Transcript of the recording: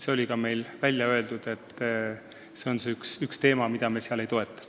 Oleme ka välja öelnud, et see on üks asi, mida me ei toeta.